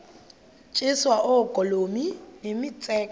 tyiswa oogolomi nemitseke